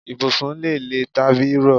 Ibùsùn lè lè tàbí rọ